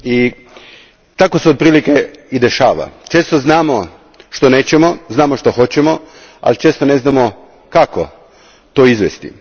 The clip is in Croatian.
I tako se otprilike i dešava, često znamo što nećemo, znamo što hoćemo, ali često ne znamo kako to izvesti.